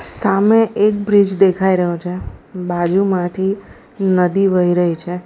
સામે એક બ્રિજ દેખાઈ રહ્યો છે બાજુમાંથી નદી વહી રહી છે.